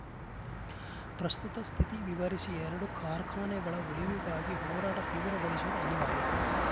ಪ್ರಸ್ತುತ ಸ್ಥಿತಿ ವಿವರಿಸಿ ಎರಡೂ ಕಾರ್ಖಾನೆಗಳ ಉಳಿವಿಗಾಗಿ ಹೋರಾಟ ತೀವ್ರಗೊಳಿಸುವುದು ಅನಿವಾರ್ಯ